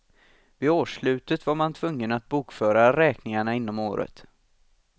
Vid årsslutet var man tvungen att bokföra räkningarna inom året.